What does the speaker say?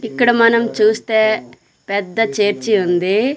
ఇక్కడ మనం చూస్తే పెద్ద చెర్చి ఉంది.